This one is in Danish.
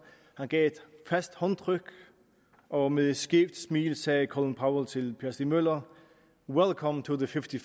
han gav et fast håndtryk og med et skævt smil sagde colin powell til herre per stig møller wellcome to the fifty